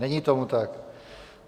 Není tomu tak.